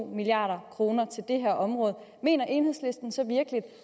milliard kroner til det her område mener enhedslisten så virkelig